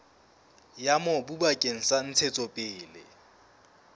ya mobu bakeng sa ntshetsopele